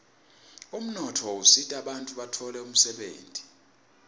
umnotfo usita bantfu batfole umdebenti